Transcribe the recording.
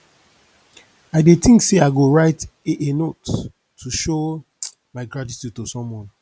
i dey think say i go write a a note to show my gratitude to someone